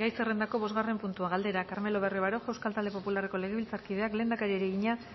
gai zerrendako bosgarren puntua galdera carmelo barrio baroja euskal talde popularreko legebiltzarkideak lehendakariari egina